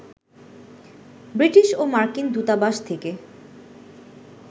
British ও মার্কিন দূতাবাস থেকে